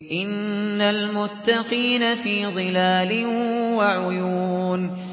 إِنَّ الْمُتَّقِينَ فِي ظِلَالٍ وَعُيُونٍ